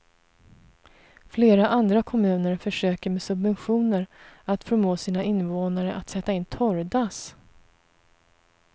Flera andra kommuner försöker med subventioner att förmå sina invånare att sätta in torrdass.